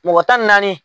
Mɔgɔ tan ni naani